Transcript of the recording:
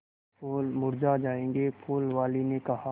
फूल मुरझा जायेंगे फूल वाली ने कहा